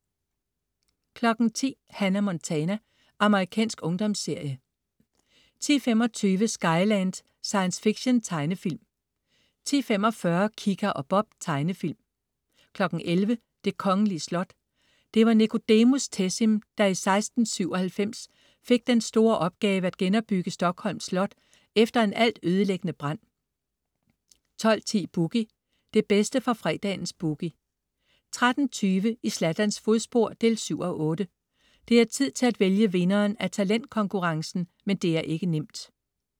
10.00 Hannah Montana. Amerikansk ungdomsserie 10.25 Skyland. Science fiction-tegnefilm 10.45 Kika og Bob. Tegnefilm 11.00 Det kongelige slot. Det var Nicodemus Tessin, der i 1697 fik den store opgave at genopbygge Stockholms Slot efter en altødelæggende brand 12.10 Boogie. Det bedste fra fredagens "Boogie" 13.20 I Zlatans fodspor 7:8. Det er tid til at vælge vinderen af talentkonkurrencen, men det er ikke nemt